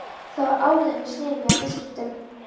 Það var áður en ég sneri mér að viðskiptum.